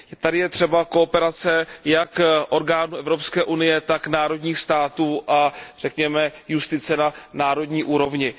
Tady je třeba kooperace jak orgánů Evropské unie, tak národních států a řekněme justice na národní úrovni.